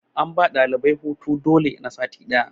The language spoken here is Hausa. an ba ɗalibai hutu dole na sati ɗaya